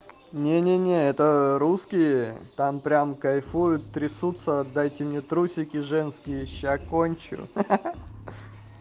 не-не-не это русские там прям кайфуют трясутся отдайте мне трусики женские ща кончу ха ха ха